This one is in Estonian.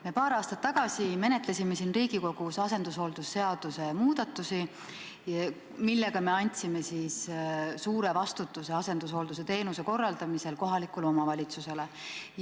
Me paar aastat tagasi menetlesime siin Riigikogus asendushooldust käsitlevaid seadusemuudatusi, millega me andsime suure vastutuse asendushooldusteenuse korraldamisel kohalikule omavalitsusele.